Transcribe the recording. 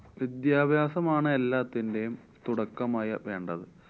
വിദ്യാഭ്യാസമാണ് എല്ലാത്തിന്‍ടെയും തുടക്കമായി വേണ്ടത്.